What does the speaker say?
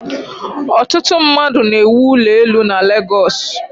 Ọtụtụ mmadụ na-ewụ ụlọ elu na Legọsụ.